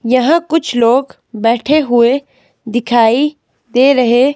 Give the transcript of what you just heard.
यहां कुछ लोग बैठे हुए दिखाई दे रहे--